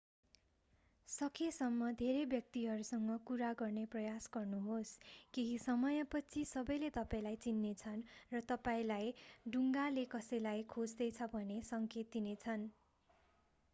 सकेसम्म धेरै व्यक्तिहरूसँग कुरा गर्ने प्रयास गर्नुहोस् केही समयपछि सबैले तपाईंलाई चिन्नेछन् र तपाईंलाई डुङ्गाले कसैलाई खोज्दैछ भनेर सङ्केत दिनेछन्